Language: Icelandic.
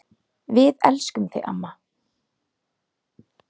Við elskum þig, mamma.